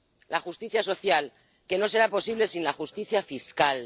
La justicia social, que no será posible sin la justicia fiscal.